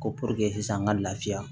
Ko sisan an ka lafiya